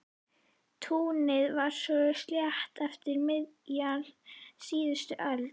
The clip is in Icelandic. Túnið var svo sléttað eftir miðja síðustu öld.